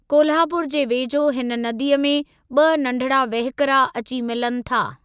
कोल्हापुर जे वेझो हिन नदीअ में ॿि नंढिड़ा वहिकिरा अची मिलनि था।